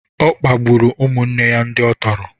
Ọ kpagburu ụmụnne ya ndị ọ tọrọ